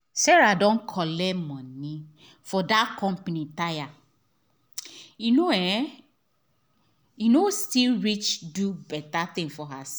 sarah don collect money for that company tire e no um still reach do bette thing for herself